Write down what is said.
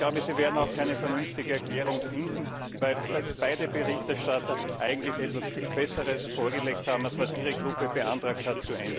Und ich glaube, Sie werden auch keine vernünftige Erklärung finden, weil beide Berichterstatter eigentlich etwas viel Besseres vorgelegt haben, als das, was Ihre Fraktion zu ändern beantragt hat.